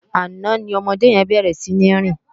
Àná ni òmòdé yèn bèrè sini rin